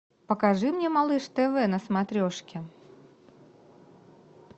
покажи мне малыш тв на смотрешке